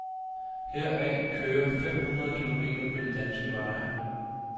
Heraf kører fem hundrede kilometer på de danske veje.